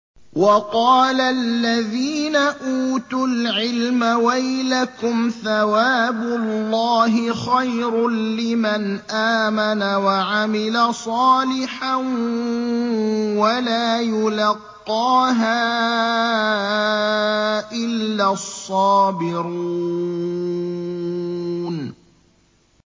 وَقَالَ الَّذِينَ أُوتُوا الْعِلْمَ وَيْلَكُمْ ثَوَابُ اللَّهِ خَيْرٌ لِّمَنْ آمَنَ وَعَمِلَ صَالِحًا وَلَا يُلَقَّاهَا إِلَّا الصَّابِرُونَ